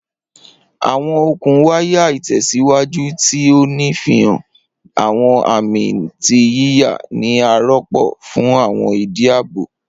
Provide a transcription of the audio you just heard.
Awọn okun waya itẹsiwaju, ti o nfihan awọn ami ti yiya, ni a rọpo fun awọn idi aabo.